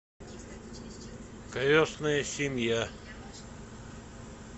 крестная семья